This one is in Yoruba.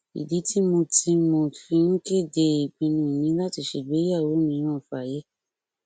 ìdí tí mo tí mo fi ń kéde ìpinnu mi láti ṣe ìgbéyàwó mìíràn fáyé